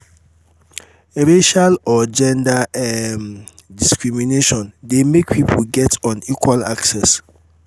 racial or gender um discrimination de make pipo get unequal access